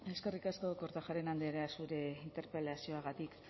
eskerrik asko kortajarena andrea zure interpelazioagatik